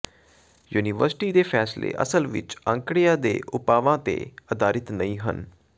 university ਦੇ ਫੈਸਲੇ ਅਸਲ ਵਿਚ ਅੰਕੜਿਆਂ ਦੇ ਉਪਾਵਾਂ ਤੇ ਆਧਾਰਿਤ ਨਹੀਂ ਹਨ